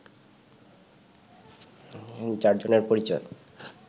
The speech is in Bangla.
চার জনের পরিচয়